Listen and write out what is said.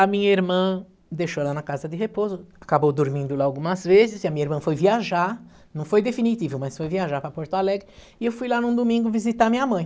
A minha irmã deixou ela na casa de repouso, acabou dormindo lá algumas vezes, e a minha irmã foi viajar, não foi definitivo, mas foi viajar para Porto Alegre, e eu fui lá num domingo visitar minha mãe.